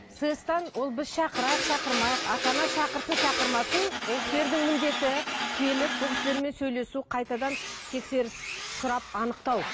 сэс тан ол біз шақырайық шақырмайық ата ана шақырсын шақырмасын ол кісілердің міндеті келіп бұл кісілермен сөйлесу қайтадан тексеріс сұрап анықтау